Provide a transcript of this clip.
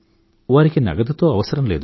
వారికి నగదుతో అవసరం లేదు